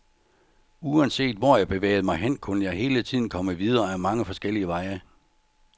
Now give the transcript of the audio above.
Uanset hvor jeg bevægede mig hen, kunne jeg hele tiden komme videre af mange forskellige veje.